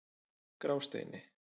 Grásteini